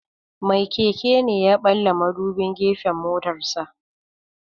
Mai keke ne ya ɓalla madubin gefen motarsa.